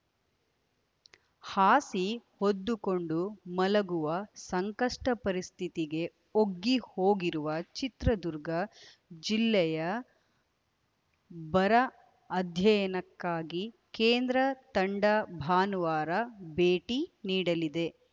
ಹಾಸಿ ಹೊದ್ದುಕೊಂಡು ಮಲಗುವ ಸಂಕಷ್ಟಪರಿಸ್ಥಿತಿಗೆ ಒಗ್ಗಿ ಹೋಗಿರುವ ಚಿತ್ರದುರ್ಗ ಜಿಲ್ಲೆಯ ಬರ ಅಧ್ಯಯನಕ್ಕಾಗಿ ಕೇಂದ್ರ ತಂಡ ಭಾನುವಾರ ಭೇಟಿ ನೀಡಲಿದೆ